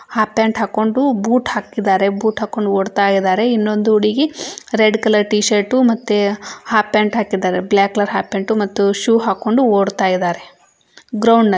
half pant ಹಾಕೊಂಡು boot ಹಾಕಿದಾರೆ boot ಹಾಕೊಂಡು ಓಡ್ತಾ ಇದಾರೆ ಇನ್ನೊಂದು ಹುಡುಗಿ ರೆಡ್ ಕಲರ್ ಟೀಶರ್ಟ್ ಮತ್ತೆ ಹಾಫ್ ಪ್ಯಾಂಟ್ ಹಾಕಿದಾರೆ ಬ್ಲಾಕ್ ಕಲರ್ ಹಾಫ್ ಪ್ಯಾಂಟ್ ಮತ್ತು ಶೂ ಹಾಕೊಂಡು ಓಡ್ತಾ ಇದಾರೆ ಗ್ರೌಂಡ್ನಲ್ಲಿ --